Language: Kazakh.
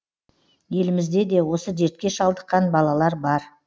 елімізде де осы дертке шалдыққан балалар бар